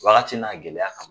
Wagati n'a gɛlɛya ka ma